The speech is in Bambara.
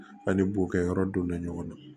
An ni bo kɛ yɔrɔ donna ɲɔgɔn na